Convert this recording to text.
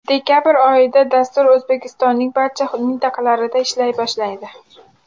Dekabr oyidan dastur O‘zbekistonning barcha mintaqalarida ishlay boshlaydi.